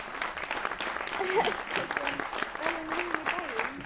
Ingimar Karl Helgason: Ferðu með hann í bæinn?